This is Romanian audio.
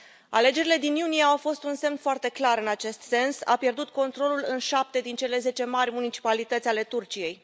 Alegerile din iunie au fost un semn foarte clar în acest sens a pierdut controlul în șapte din cele zece mari municipalități ale Turciei.